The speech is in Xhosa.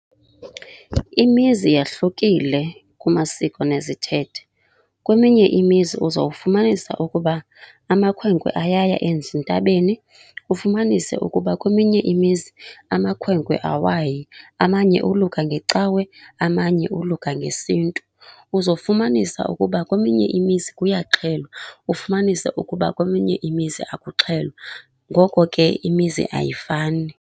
Imizi yahlukile kumasiko nezithethe. Kweminye imizi uzawufumanisa ukuba amakhwenkwe ayaya ezintabeni, ufumanise ukuba kweminye imizi amakhwenkwe awayi. Amanye oluka ngecawe, amanye oluka ngesintu. Uzofumanisa ukuba kweminye imizi kuyaxhelwa, ufumanise ukuba kweminye imizi akuxhelwa. Ngoko ke imizi ayifani.